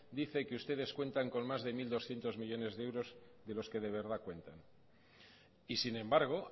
dice que ustedes cuentan con más de mil doscientos millónes de euros de los que verdad cuentan y sin embargo